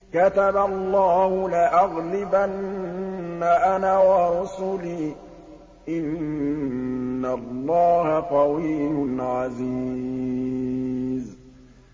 كَتَبَ اللَّهُ لَأَغْلِبَنَّ أَنَا وَرُسُلِي ۚ إِنَّ اللَّهَ قَوِيٌّ عَزِيزٌ